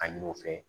A ɲini u fɛ